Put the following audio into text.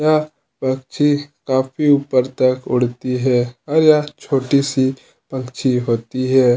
यह पक्षी काफी ऊपर तक उड़ती है और यह छोटी- सी पक्षी होती हैं।